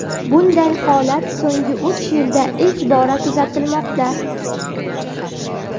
Bunday holat so‘nggi uch yilda ilk bora kuzatilmoqda.